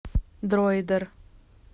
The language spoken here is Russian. дроидер